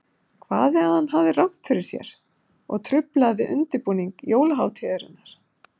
Hvað ef hann hafði rangt fyrir ‚ser og truflaði undirbúning jólahátíðarinnar?